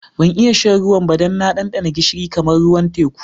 Ban iya shan ruwan ba dan na dandana gishiri kamar ruwan teku.